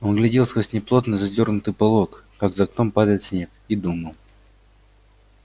он глядел сквозь неплотно задёрнутый полог как за окном падает снег и думал